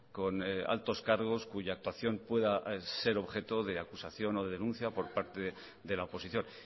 con altos cargos cuya actuación pueda ser objeto de acusación o de denuncia por parte de la oposición